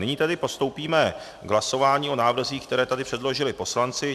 Nyní tedy postoupíme k hlasování o návrzích, které tady předložili poslanci.